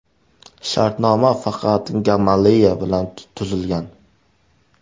Shartnoma faqat Gamaleya bilan tuzilgan.